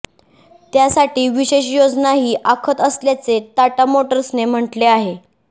त्यासाठी विशेष योजनाही आखत असल्याचे टाटा मोटर्सने म्हटले आहे